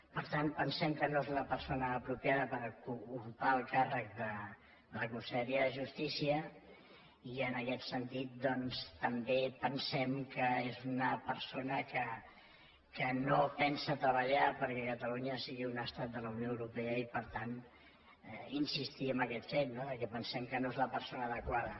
per tant pensem que no és la persona apropiada per ocupar el càrrec de la conselleria de justícia i en aquest sentit doncs també pensem que és una persona que no pensa treballar perquè catalunya sigui un estat de la unió europea i per tant insistir en aquest fet no que pensem que no és la persona adequada